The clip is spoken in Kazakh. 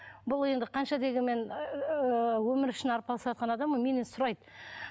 бұл енді қанша дегенмен ыыы өмір үшін арпалысыватқан адам ғой менен сұрайды